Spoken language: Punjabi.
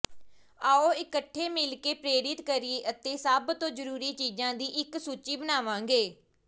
ਆਓ ਇਕੱਠੇ ਮਿਲ ਕੇ ਪ੍ਰੇਰਿਤ ਕਰੀਏ ਅਤੇ ਸਭ ਤੋਂ ਜ਼ਰੂਰੀ ਚੀਜ਼ਾਂ ਦੀ ਇੱਕ ਸੂਚੀ ਬਣਾਵਾਂਗੇ